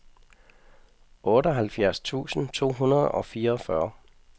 otteoghalvfjerds tusind to hundrede og fireogfyrre